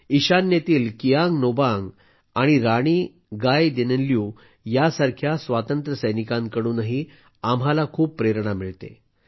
ईशान्येतील किआंग नोबांग आणि राणी गैडिनलिऊ यांसारख्या स्वातंत्र्यसैनिकांकडूनही आम्हाला खूप प्रेरणा मिळते